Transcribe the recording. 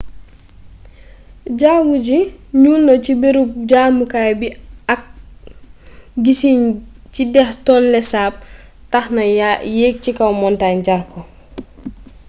jawwu ji ñuul na ci bërëb jamukaay bi ak gissin ci déex tonle sap tax na yegg cikaw montañ jar ko